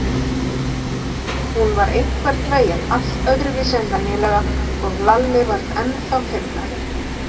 Hún var einhvern veginn allt öðruvísi en venjulega og Lalli varð ennþá feimnari.